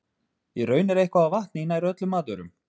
Í raun er eitthvað af vatni í nær öllum matvörum.